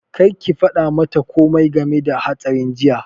Kar ki faɗa mata komai game da hatsarin jiya!